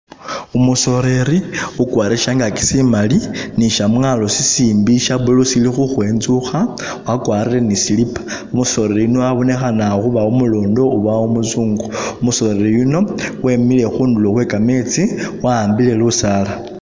Umusoleli ukwarire shangaki shimali, ni shamwalo sishimbi sha blue shili khukhwenzukha, wakwarire ni sleeper, umusoleli yuno abonekhana khuba umurondo oba umuzungu, umusoleli yuno wemile khundulo khwekametsi wa'ambile lusaala.